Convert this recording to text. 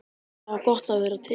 Það var gott að vera til.